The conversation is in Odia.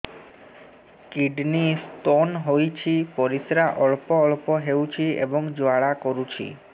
କିଡ଼ନୀ ସ୍ତୋନ ହୋଇଛି ପରିସ୍ରା ଅଳ୍ପ ଅଳ୍ପ ହେଉଛି ଏବଂ ଜ୍ୱାଳା କରୁଛି